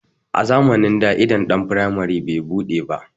A zamanin da idon ɗan firamari bai buɗe ba